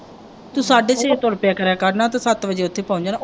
ਤੇ ਸਾਢੇ ਛੇ ਇੱਥੋਂ ਤੁਰ ਪਿਆ ਕਰਨਾ ਤੇ ਸੱਤ ਵਜੇ ਉੱਥੇ ਚੱਲ ਜਾਣਾ।